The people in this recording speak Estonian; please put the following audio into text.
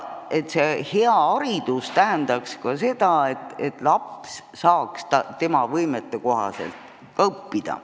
See hea haridus tähendaks ka seda, et laps saaks õppida võimetekohaselt.